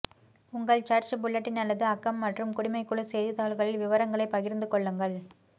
உங்கள் church bulletin அல்லது அக்கம் மற்றும் குடிமை குழு செய்தித்தாள்களில் விவரங்களைப் பகிர்ந்து கொள்ளுங்கள்